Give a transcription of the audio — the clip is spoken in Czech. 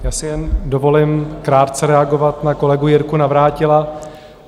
Já si jen dovolím krátce reagovat na kolegu Jirku Navrátila.